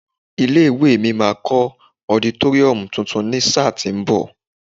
Ilé ìwée mi máa kọ́ ọditóríọ̀mù tuntun ní sáà tí ń bọ̀.